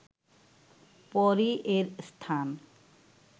পরই এর স্থান